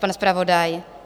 Pan zpravodaj?